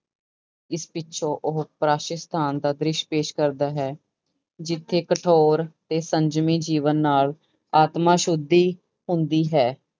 ਇਸ ਪਿੱਛੋਂ ਉਹ ਸਤਾਨ ਦਾ ਦ੍ਰਿਸ਼ ਪੇਸ਼ ਕਰਦਾ ਹੈ ਜਿੱਥੇ ਕਠੋਰ ਤੇ ਸੰਜਮੀ ਜੀਵਨ ਨਾਲ ਆਤਮਾ ਸੁੱਧੀ ਹੁੰਦੀ ਹੈ।